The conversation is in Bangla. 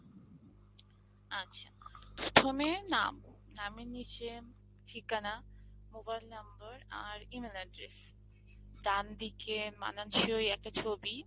আচ্ছা, প্রথমে নাম নামের নিচে ঠিকানা, Mobile number আর email address; ডানদিকে মানানসই একটা ছবি।